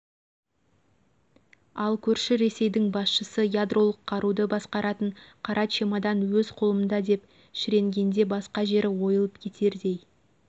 ал көрші ресейдің басшысы ядролық қаруды басқаратын қара чемодан өз қолымда деп шіренгенде басқа жері ойылып кетердей